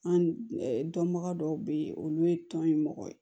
An dɔnbaga dɔw be yen olu ye tɔn ye mɔgɔ ye